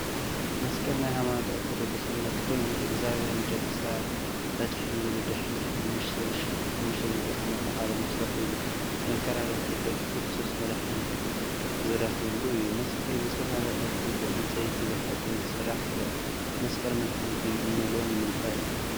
መስቀል ናይ ሃይማኖት ኦርቶዶክስ እምነት ኮይኑ፣ እግዚአብሄር ንደቂ ሰባት ከድሕን ኢሉ ድሕሪ 5500 ዓ.ዓ ተሰቂሉ መከራ ረኪቡ ደቂ ክርስቶስ መድሓኒት ዝረከብሉ እዩ፡፡ መስቀል ብዝተፈላለየ ቅርፂ ብዕንፀይትን ብሓፂንን ክስራሕ ይክእል፡፡ መስቀል መድሓኒት እዩ እንብሎ ንምንታይ እዩ?